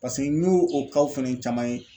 Paseke n'i o o fɛnɛ caman ye.